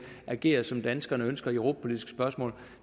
agerer som danskerne ønsker i europapolitiske spørgsmål